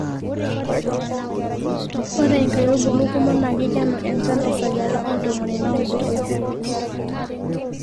ore inkaitubulu kumok naa kikenu enchan te sajata oo ntomoni naudo oisiet